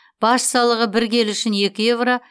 баж салығы бір келі үшін екі еуро